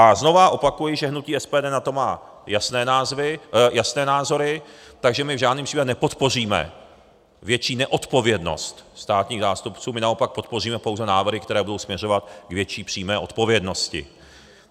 A znova opakuji, že hnutí SPD na to má jasné názory, takže my v žádném případě nepodpoříme větší neodpovědnost státních zástupců, my naopak podpoříme pouze návrhy, které budou směřovat k větší přímé odpovědnosti.